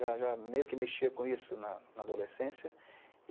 Já já meio que mexia com isso na na adolescência.